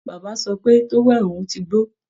Bàbá sọ pé towel òun ti gbó